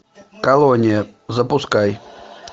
колония запускай